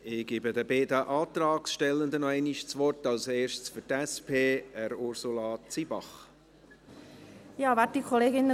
Ich gebe noch einmal den beiden Antragstellern das Wort, zuerst Ursula Zybach für die SP.